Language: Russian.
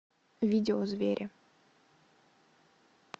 видео звери